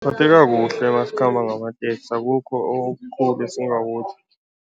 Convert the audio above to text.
Siphatheka kuhle nasikhamba ngamateksi, akukho okukhulu esingakutjho.